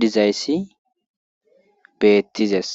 dizayssi beettizes